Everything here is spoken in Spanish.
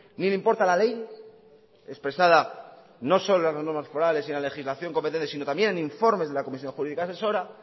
ni le importa la ley expresada no solo en las normas forales y en legislación competente sino también en informes de la comisión jurídica asesora